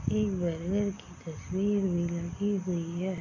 इ बरगद की तस्वीर भी लगी हुई है |